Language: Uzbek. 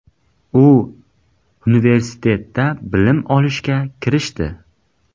U universitetda bilim olishga kirishdi.